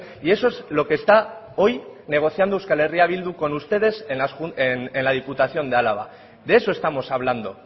y eso es lo que está hoy negociando euskal herria bildu con ustedes en la diputación de álava de eso estamos hablando